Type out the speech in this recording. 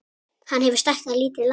Hann hefur stækkað lítið land